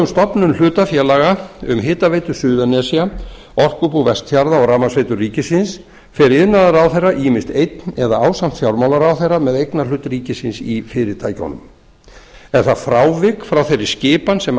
stofnun hlutafélaga um hitaveitu suðurnesja orkubú vestfjarða og rafmagnsveitur ríkisins fer iðnaðarráðherra ýmist einn eða ásamt fjármálaráðherra með eignarhlut ríkisins í fyrirtækjunum er það frávik frá þeirri skipan sem